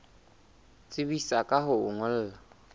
tsebisa ka ho o ngolla